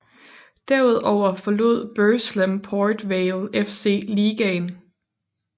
Derudover forlod Burslem Port Vale FC ligaen